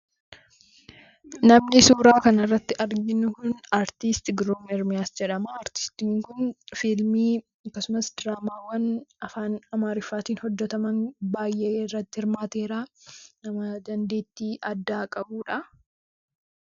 Namni suuraa kana irratti arginu kun aristi Giruum Irmiyaas jedhama. Artistiin kun fiilmii akkasumas diraamaawwan afaan Amaariffaatiin hojjetaman baay'ee irratti hirmaateera. Nama dandeettii addaa qabuu dha.